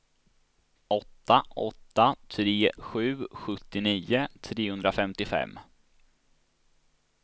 åtta åtta tre sju sjuttionio trehundrafemtiofem